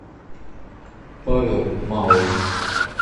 павел малый